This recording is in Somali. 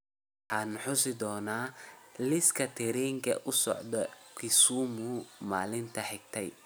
Waxaan xusi doonaa liiska tareenkii u socday Kusimun maalintii xigtay